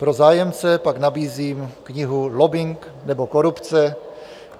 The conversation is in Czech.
Pro zájemce pak nabízím knihu Lobbing, nebo korupce?.